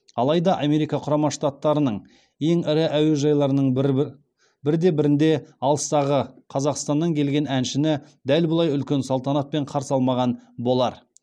алайда америка құрама штаттарының ең ірі әуежайларының бірде бірінде алыстағы қазақстанан келген әншіні дәл бұлай үлкен салтанатпен қарсы алмаған болар